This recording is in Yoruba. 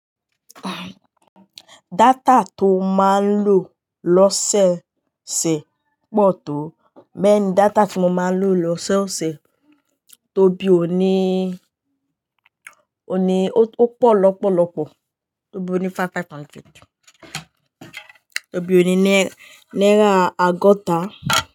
Data tó ma lò lọ́ṣẹ̀ẹ́ ṣe pọ̀ tó, bẹ́ẹ̀ni data tí mo ma lò lọ́ṣẹ̀ẹ́ ṣe tó bí o ní, o ní ó pọ̀ lọ́pọ̀lọpọ̀, tó bí o ní five hundred, tó bí o ní naira agota.